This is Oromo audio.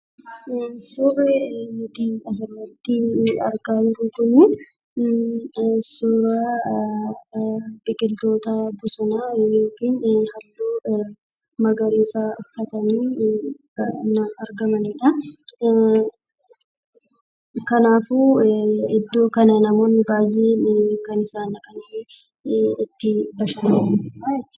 Suurri nutii asirratti argaa jirru kunii suuraa biqiltoota bosonaa yookiin halluu magariisaa uffatanii, baayyinaan argamanidhaa. Kanaafuu iddoo kana namoonni baayyeen kan isaan dhaqanii itti bashanananidhaa jechuudha.